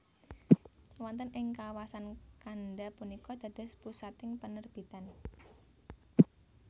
Wonten ing kawasan Kanda punika dados pusating panerbitan